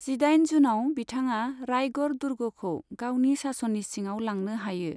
जिदाइन जुनआव बिथाङा रायगढ़ दुर्गखौ गावनि सासननि सिङाव लांनो हायो।